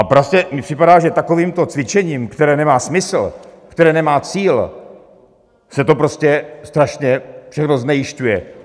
A prostě mi připadá, že takovýmto cvičením, které nemá smysl, které nemá cíl, se to prostě strašně všechno znejisťuje.